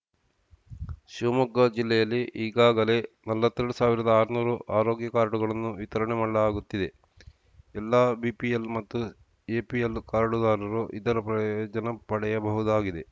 ಶಿವಮೊಗ್ಗ ಜಿಲ್ಲೆಯಲ್ಲಿ ಈಗಾಗಲೇ ನಲವತ್ತೆರಡು ಸಾವಿರದ ಆರ್ನೂರು ಆರೋಗ್ಯ ಕಾರ್ಡುಗಳನ್ನು ವಿತರಣೆ ಮಾಡಲಾಗುತ್ತಿದೆ ಎಲ್ಲ ಬಿಪಿಎಲ್‌ ಮತ್ತು ಎಪಿಎಲ್‌ ಕಾರ್ಡುದಾರರು ಇದರ ಪ್ರಯೋಜನ ಪಡೆಯಬಹುದಾಗಿದೆ